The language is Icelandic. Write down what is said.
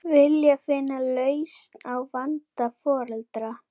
Vilja finna lausn á vanda foreldra